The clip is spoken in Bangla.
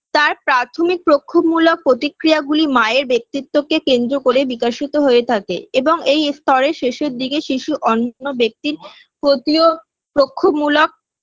তার প্রাথমিক প্রক্ষোভমূলক প্রতিক্রিয়াগুলি মায়ের ব্যক্তিত্বকে কেন্দ্র করে বিকাশিত হয়ে থাকে এবং এই স্তরের শেষের দিকে শিশু অন্যান্য ব্যক্তির প্রতিও প্রক্ষোভমূলক